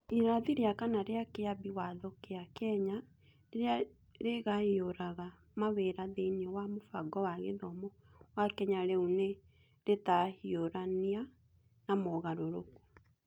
Irathi rĩa kana rĩa Kĩambi Watho kĩa Kenya rĩrĩa rĩgayũraga mawĩra thĩinĩ wa mũbango wa gĩthomo wa Kenya rĩu nĩ rĩtahiũrania na mogarũrũku.